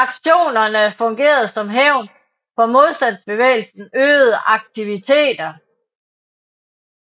Aktionerne fungerede som hævn for modstandsbevægelsens øgede aktiviteter